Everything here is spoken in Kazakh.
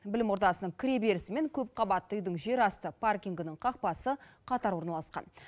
білім ордасының кіреберісі мен көпқабатты үйдің жерасты паркингінің қақпасы қатар орналасқан